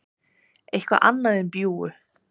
eitthvað annað en bjúgu.